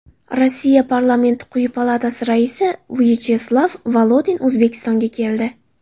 Rossiya parlamenti quyi palatasi raisi Vyacheslav Volodin O‘zbekistonga keldi.